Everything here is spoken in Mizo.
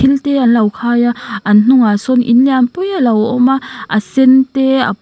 il te an lo khai a an hnungah sawn in lianpui alo awma a sen te a--